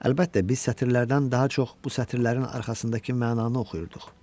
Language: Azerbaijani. Əlbəttə, biz sətirlərdən daha çox bu sətirlərin arxasındakı mənanı oxuyurduq.